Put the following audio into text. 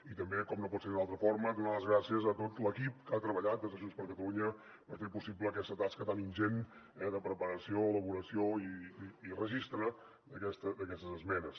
i també com no pot ser d’una altra forma donar les gràcies a tot l’equip que ha treballat des de junts per catalunya per fer possible aquesta tasca tan ingent de preparació elaboració i registre d’aquestes esmenes